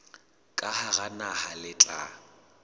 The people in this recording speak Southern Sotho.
ka hara naha le tla